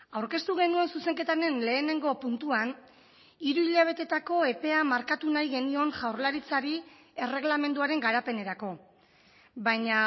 aurkeztu genuen zuzenketaren lehenengo puntuan hiru hilabeteetako epea markatu nahi genion jaurlaritzari erreglamenduaren garapenerako baina